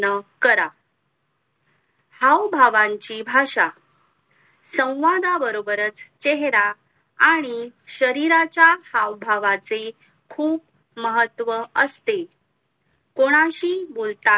करा भाऊ भावांची भाषा सौवादाबरोबर चेहेरा आणि शरीराच्या हावभावाचे खूप महत्व असते कोणाशी बोलताना